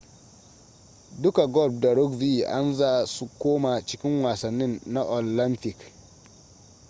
duka golf da rugby an za su komo cikin wasannin na olamfik